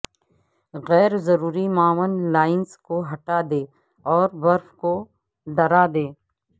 غیر ضروری معاون لائنز کو ہٹا دیں اور برف کو ڈرا دیں